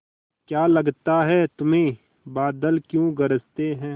क्या लगता है तुम्हें बादल क्यों गरजते हैं